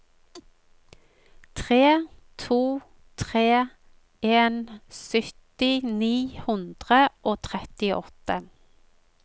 tre to tre en sytti ni hundre og trettiåtte